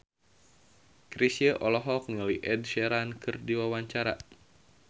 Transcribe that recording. Chrisye olohok ningali Ed Sheeran keur diwawancara